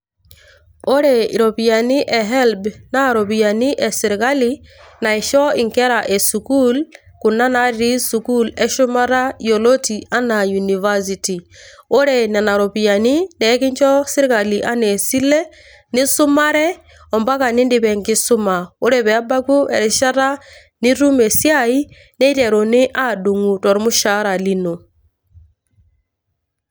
Ore irropiyiani e HELB naa irropiyiani e sirkali naisho nkera e sukuul kuna natii sukuul e shumata yioloti enaa university. Ore nena ropiyiani ekinjo sirkali enaa esile nisumare o mpaka nidip enkisuma. Ore pee ebaku erishata nitum esiai niteruni aadung`u tolmushahara ino.